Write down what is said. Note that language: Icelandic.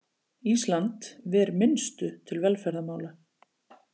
Ísland ver minnstu til velferðarmála